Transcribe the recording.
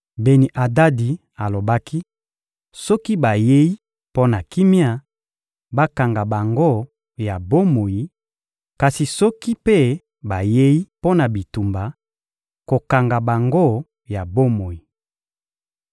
Beni-Adadi alobaki: — Soki bayei mpo na kimia, bakanga bango ya bomoi; kasi soki mpe bayei mpo na bitumba, kokanga bango ya bomoi.